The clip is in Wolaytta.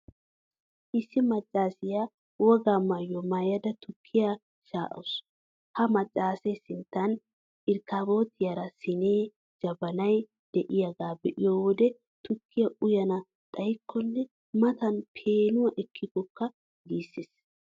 Issi maccaasiyaa wogaa maayuwaa maayada tukkiyaa sha'awusu. Ha maccaasee sinttan irkkaabootiyaara siinee, jabanay de'iyaagaa be'iyo wode tukkiyaa uyana xayiyaakkonne matan peenuwaa ekkiyakko!! giissees.